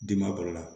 Di ma kɔrɔ la